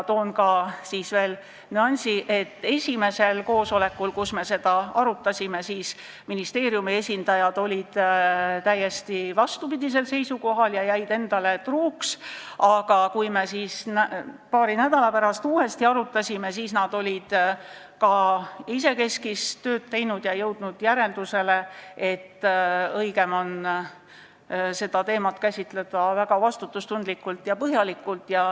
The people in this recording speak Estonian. Toon välja ka nüansi, et esimesel koosolekul, kus me seda arutasime, olid ministeeriumi esindajad täiesti vastupidisel seisukohal ja jäid endale truuks, aga kui me paari nädala pärast uuesti arutasime, siis olid nad ka isekeskis tööd teinud ja jõudnud järeldusele, et õigem on seda teemat käsitleda väga vastutustundlikult ja põhjalikult.